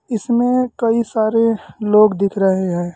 इसमें कई सारे लोग दिख रहे हैं।